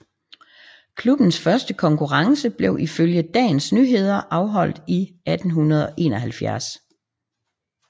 Klubbens første konkurrence blev ifølge Dagens Nyheder afholdt i 1871